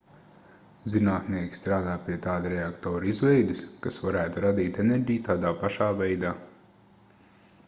zinātnieki strādā pie tāda reaktora izveides kas varētu radīt enerģiju tādā pašā veidā